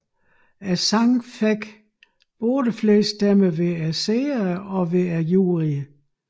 Sangen fik både flest stemmer hos seerne og juryerne